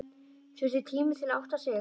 Þurfti tíma til að átta sig.